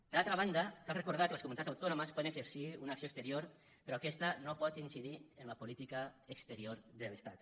per altra banda cal recordar que les comunitats autònomes poden exercir una acció exterior però aquesta no pot incidir en la política exterior de l’estat